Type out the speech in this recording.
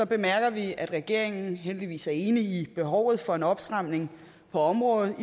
bemærker vi at regeringen heldigvis er enig i behovet for en opstramning på området